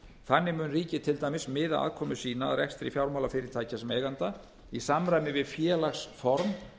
þannig mun ríkið til dæmis miða aðkomu sína að rekstri fjármálafyrirtækja sem eiganda í samræmi við félagsform